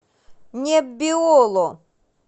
неббиоло